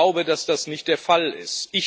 Ich glaube, dass das nicht der Fall ist.